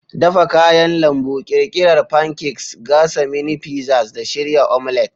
Dafa kayan lambu, ƙirƙirar pancakes, gasa mini pizzas, da shirya omelet.